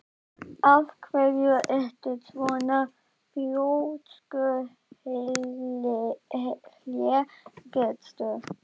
Af hverju ertu svona þrjóskur, Hlégestur?